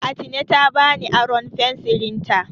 Atine ta bani aron fensirinta.